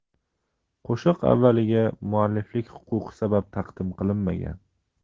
Qo‘shiq avvaliga mualliflik huquqi sabab taqdim qilinmagan.